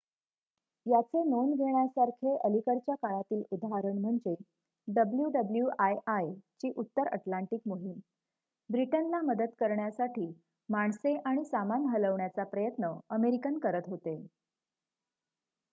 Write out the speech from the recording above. याचे नोंद घेण्यासारखे अलीकडच्या काळातील उदाहरण म्हणजे wwii ची उत्तर अटलांटिक मोहीम ब्रिटनला मदत करण्यासाठी माणसे आणि सामान हलवण्याचा प्रयत्न अमेरिकन करत होते